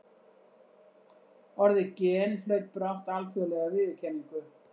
Orðið gen hlaut brátt alþjóðlega viðurkenningu.